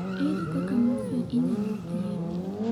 Ere kaka morphea inyalo chiedh?